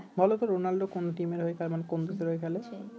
বলতো রোনালদো কোন টিমের হয়ে খেলে মানে কোন দেশের হয়ে খেলে